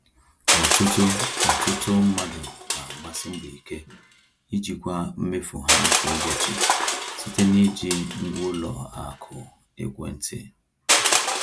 Ọtụtụ Ọtụtụ mmadụ na-agbasi mbọ ike ijikwa mmefu ha kwa ụbọchị site n’iji ngwa ụlọ akụ ekwentị.